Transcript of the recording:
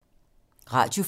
Radio 4